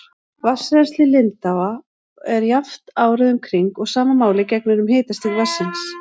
Vatnsrennsli lindáa er jafnt árið um kring og sama máli gegnir um hitastig vatnsins.